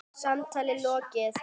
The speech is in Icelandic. Samtali lokið.